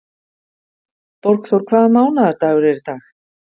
Borgþór, hvaða mánaðardagur er í dag?